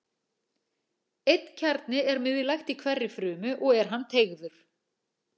Einn kjarni er miðlægt í hverri frumu og er hann teygður.